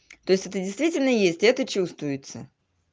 то есть это действительно есть это чувствуется